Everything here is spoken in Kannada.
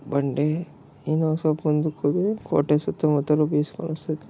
ಬಂಡೆ ಇನ್ನು ಸ್ವಲ್ಪ ಮುಂದೆ ಹೋದರೆ ಕೋಟೆ ಸುತ್ತಮುತ್ತಲು ವೀವ್ಸ್ ಫಾರೆಸ್ಟ್ .